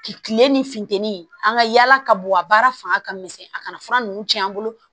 Kile ni funteni an ka yala ka bɔ a baara fanga ka misɛn a kana fura nunnu cɛn an bolo